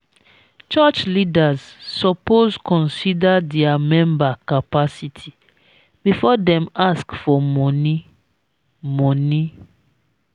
church leaders suppose consider dia member capacity before dem ask for money. money.